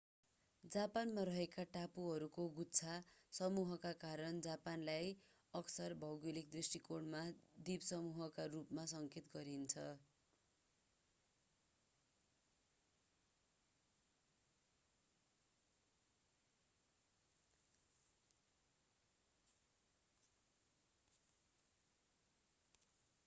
जापानमा रहेका टापुहरूको गुच्छा/समूहका कारण जापानलाई अक्सर भौगोलिक दृष्टिकोणमा द्वीपसमूह” का रूपमा सङ्केत गरिन्छ।